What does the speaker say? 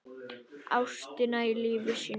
Ástina í lífi sínu.